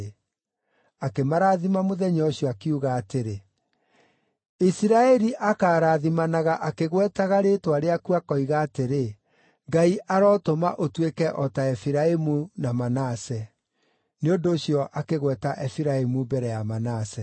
Akĩmarathima mũthenya ũcio, akiuga atĩrĩ, “Isiraeli akaarathimanaga akĩgwetaga rĩĩtwa rĩaku akoiga atĩrĩ: ‘Ngai arotũma ũtuĩke o ta Efiraimu na Manase.’ ” Nĩ ũndũ ũcio akĩgweta Efiraimu mbere ya Manase.